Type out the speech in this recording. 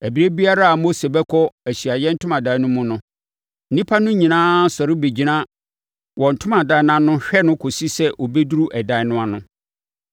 Ɛberɛ biara a Mose bɛkɔ Ahyiaeɛ Ntomadan no mu no, nnipa no nyinaa sɔre bɛgyina wɔn ntomadan ano hwɛ no kɔsi sɛ ɔbɛduru ɛdan no ano.